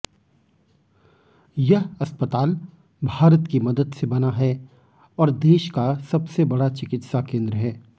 यह अस्पताल भारत की मदद से बना है और देश का सबसे बड़ा चिकित्साकेंद्र है